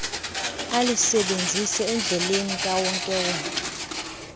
alisebenzise endleleni kawonkewonke